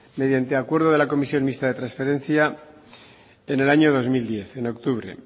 mediante acuerdo de la comisión mixta de trasferencia en el año dos mil diez en octubre